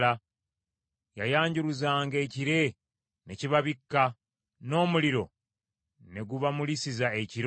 Yayanjuluzanga ekire ne kibabikka, n’omuliro ne gubamulisiza ekiro.